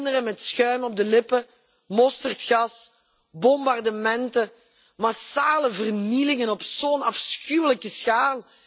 Kinderen met schuim op de lippen, mosterdgas, bombardementen, massale vernielingen op zo'n afschuwelijke schaal.